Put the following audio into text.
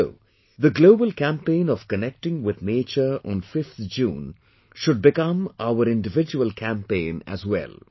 So, the global campaign of connecting with nature on 5th June should become our individual campaign as well